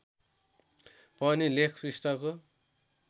पनि लेख पृष्ठको